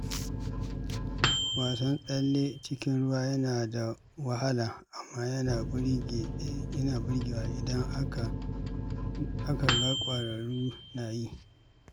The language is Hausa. Wasan tsalle cikin ruwa yana da wahala, amma yana burgewa idan aka ga ƙwararru na yi.